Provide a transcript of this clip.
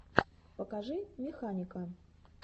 покажи механика